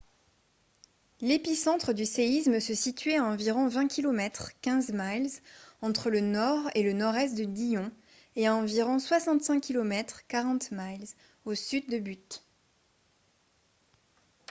l'épicentre du séisme se situait a environ 20 km 15 miles entre le nord et le nord-est de dillon et à environ 65 km 40 miles au sud de butte